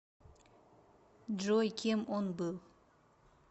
джой кем он был